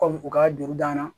Kɔmi u ka juru d'an ma